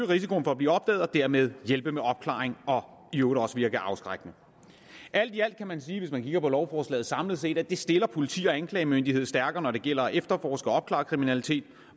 risikoen for at blive opdaget og dermed hjælpe med opklaringen og i øvrigt også virke afskrækkende alt i alt kan man sige hvis man kigger på lovforslaget samlet set at det stiller politi og anklagemyndighed stærkere når det gælder om at efterforske og opklare kriminalitet